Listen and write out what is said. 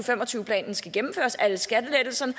fem og tyve planen skal gennemføres alle skattelettelserne